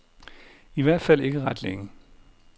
I hvert fald ikke ret længe.